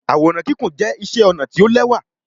Àwòrán Kíkún jẹ iṣé ọnà tí o l'ẹwa.